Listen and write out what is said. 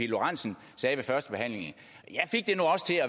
lorentzen sagde ved førstebehandlingen